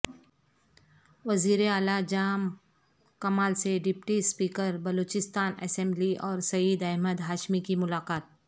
وزیراعلی جام کمال سے deputy speaker Balochistan assembly اور سعید احمد ہاشمی کی ملاقات